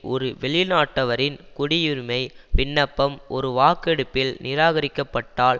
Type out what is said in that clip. ஒரு வெளிநாட்டவரின் குடியுரிமை விண்ணப்பம் ஒரு வாக்கெடுப்பில் நிராகரிக்கப்பட்டால்